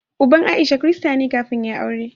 Uban Aisha Kirista ne kafin ya yi aure.